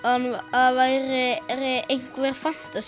það væri einhver